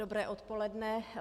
Dobré odpoledne.